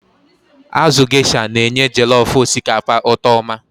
Azụ Gaysha na-enye jellof osikapa ụtọ oma.